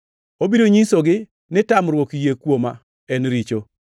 Obiro nyisogi ni tamruok yie Kuoma en richo.